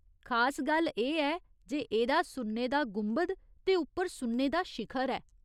खास गल्ल एह् ऐ जे एह्दा सुन्ने दा गुंबद ते उप्पर सुन्ने दा शिखर ऐ।